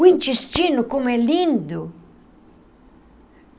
O intestino como é lindo.